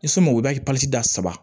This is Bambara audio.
I sɔn ma i b'a ye da saba